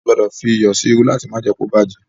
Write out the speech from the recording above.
A gbọdọ̀ fí iyọ̀ sí irú láti má jé kí ó bá jẹ́.